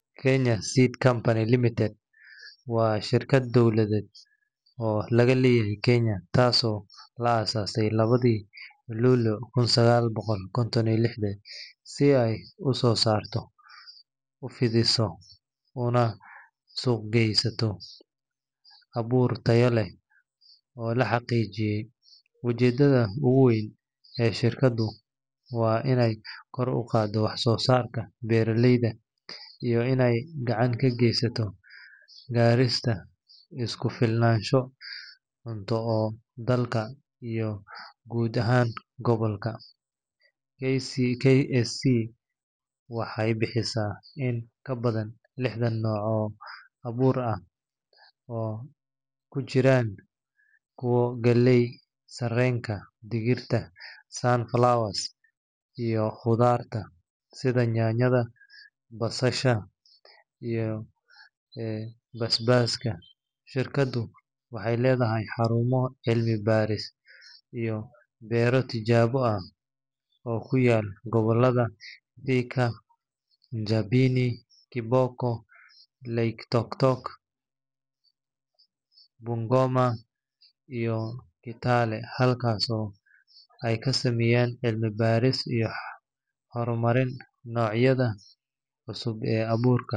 Kenya Seed Company Ltd KSC waa shirkad dowladeed oo laga leeyahay Kenya, taasoo la aasaasay lawadii Luulyo kun sagal boqol lixdan iyo shan si ay u soo saarto, u fidiso, una suuqgeysato abuur tayo leh oo la xaqiijiyay. Ujeedada ugu weyn ee shirkaddu waa inay kor u qaaddo wax-soo-saarka beeraleyda iyo inay gacan ka geysato gaarista isku-filnaansho cunto ee dalka iyo guud ahaan gobolka .KSC waxay bixisaa in ka badan lixdan nooc oo abuur ah, oo ay ku jiraan kuwa galleyda, sarreenka, digirta, sunflowers, iyo khudaarta sida yaanyada, basasha, iyo basbaaska. Shirkaddu waxay leedahay xarumo cilmi-baaris iyo beero tijaabo ah oo ku yaal gobollada Thika, Njabini, Kiboko, Loitoktok, Bungoma, iyo Kitale, halkaasoo ay ka sameyso cilmi-baaris iyo horumarinta noocyada cusub ee abuurka .